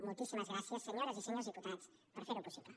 moltíssimes gràcies senyores i senyors diputats per fer ho possible